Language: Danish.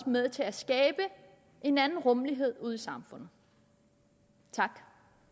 med til at skabe en anden rummelighed ude i samfundet tak